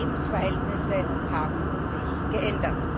Lebensverhältnisse haben sich geändert!